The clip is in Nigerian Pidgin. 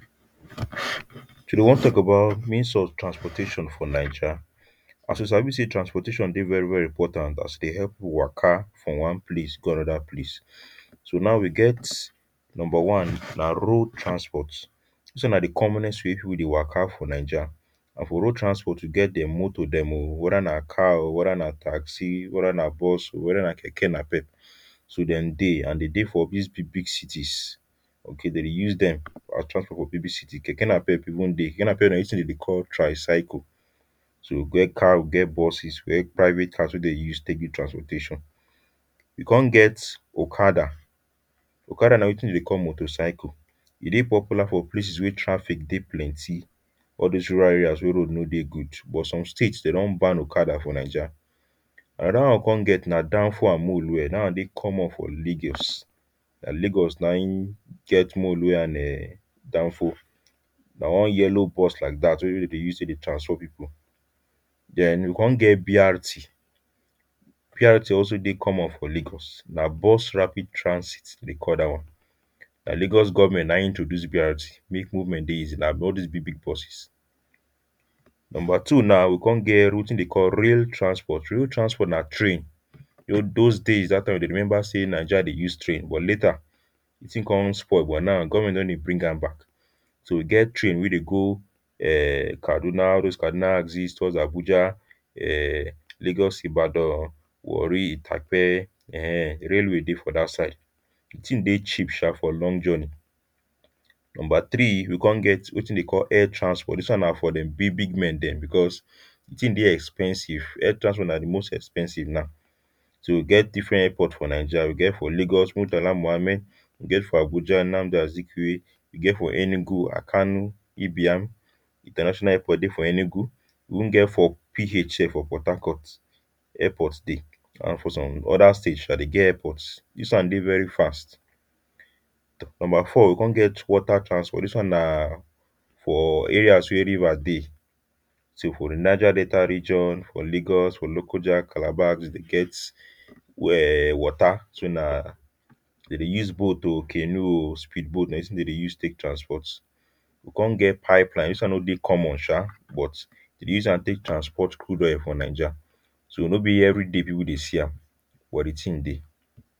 today we want talk about means of transportation for Niger as you sabi say transportation deh very very important as e deh help pipu waka from one place go another place so now we get number one nah road transport this one nah the commonest way weh pipu wey deh waka for Niger nah for road transport we get them motor them um wether nah car um or wether nah taxi wether nah bus um wether nah keke nah pep so them deh and them deh for these big big cities okay them deh use them as transport for big big city keke napep even deh keke napep nah wetin dem deh call tri-cycle so we get car we get buses we get private cars weh them deh use transport people e come get okada okada nah wetin them deh call motor-cycle e deh popular for places weh traffic deh plenty all those rural area weh road no good but some states them don ban okada for Niger another one we come get nah danfo an mulue that one deh common for Lagos nah Lagos nah hin get mulue an um danfo nah one yellow bus like that weh them deh use take transport people then we come get BRT BRT also deh common for Lagos nah bus rapid transit them call that one nah Lagos government nah hin introduce BRT make movement deh easy nah all this big big buses number two now we come get wetin them call rail transport rail transport nah train weh those days we dey remember say Niger deh use train but later the thing come spoil but now government don deh bring am back so e get train weh deh go um Kaduna all those Kaduna axis towards Abuja um Lagos Ibadan Warri Itakpe um rail way deh for that side the thing deh cheap um for long journey number three we come get wetin them deh call air transport this one nah for big big men them because the thing deh expensive air transport nah the most expensive now so we get different airport for Niger we get for Lagos Muritala Muhammed we get for Abuja Nnamdi Asikiweh we get for Enugu Akanu Ibiam international airport deh for Enugu we even get for PH here for Port Harcourt airport deh and for some other state um them get airport this one deh very fast number four we come get water transport this one nah for areas weh river deh so for the Niger Delta region for Lagos for Lokoja Calabar we deh get weh water so nah them deh use boat o canoe speed boat nah wetin them deh use take transport we come get pipe line this one no deh common um but them deh use am take transport crude oil for Niger so no be everyday weh people deh see am but the thing deh.